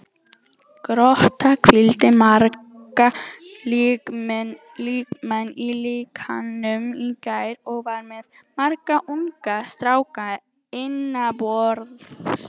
Grótta hvíldi marga lykilmenn í leiknum í gær og var með marga unga stráka innanborðs.